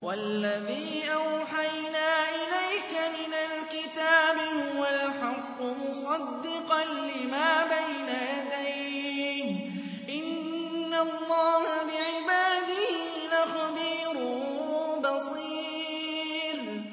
وَالَّذِي أَوْحَيْنَا إِلَيْكَ مِنَ الْكِتَابِ هُوَ الْحَقُّ مُصَدِّقًا لِّمَا بَيْنَ يَدَيْهِ ۗ إِنَّ اللَّهَ بِعِبَادِهِ لَخَبِيرٌ بَصِيرٌ